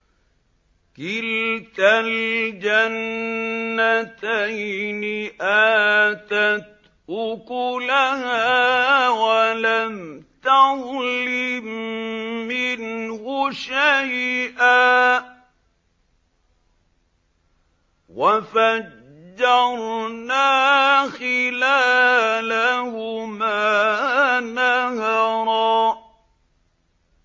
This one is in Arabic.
كِلْتَا الْجَنَّتَيْنِ آتَتْ أُكُلَهَا وَلَمْ تَظْلِم مِّنْهُ شَيْئًا ۚ وَفَجَّرْنَا خِلَالَهُمَا نَهَرًا